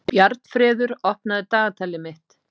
Bjarnfreður, opnaðu dagatalið mitt.